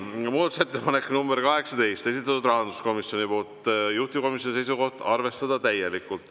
Muudatusettepanek nr 18, esitanud rahanduskomisjon, juhtivkomisjoni seisukoht: arvestada täielikult.